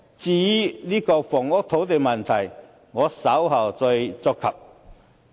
至於房屋及土地的問題，我稍後再觸及。